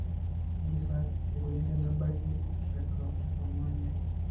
Kaji sa eikoni tenebaki eTrichotillomania?